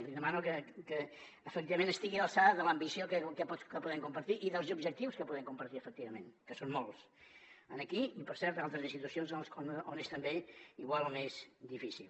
li demano que efectivament estigui a l’alçada de l’ambició que podem compartir i dels objectius que podem compartir efectivament que són molts aquí i per cert a altres institucions on és també igual o més difícil